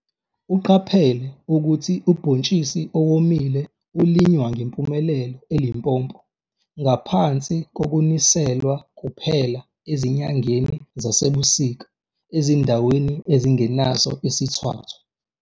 Uqaphele ukuthi ubhontshisi owomile ulinywa ngempumelelo eLimpopo, ngaphansi kokuniselwa kuphela ezinyangeni zasebusika ezindaweni ezingenaso isithwathwa.